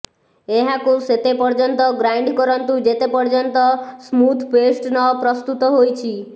ଏହାକୁ ସେତେ ପର୍ଯ୍ଯନ୍ତ ଗ୍ରାଇଣ୍ଡ କରନ୍ତୁ ଯେତେ ପର୍ଯ୍ଯନ୍ତ ସ୍ମୁଥ ପେଷ୍ଟ ନ ପ୍ରସ୍ତୁତ ହୋଇଛି